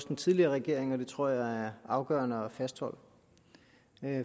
den tidligere regering og det tror jeg er afgørende at fastholde